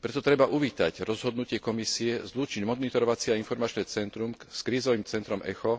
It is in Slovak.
Preto treba uvítať rozhodnutie Komisie zlúčiť monitorovacie a informačné centrum s krízovým centrom Echo